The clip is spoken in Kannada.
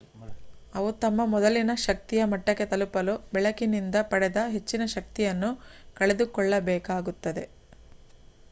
ಅವು ತಮ್ಮ ಮೊದಲಿನ ಶಕ್ತಿಯ ಮಟ್ಟಕ್ಕೆ ತಲುಪಲು ಬೆಳಕಿನಿಂದ ಪಡೆದ ಹೆಚ್ಚಿನ ಶಕ್ತಿಯನ್ನು ಕಳೆದುಕೊಳ್ಳಬೇಕಾಗುತ್ತದೆ